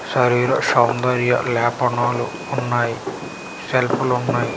శరీర సౌందర్య లేపనాలు ఉన్నాయి సెల్ప్ లు ఉన్నాయి.